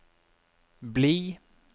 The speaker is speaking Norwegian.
bli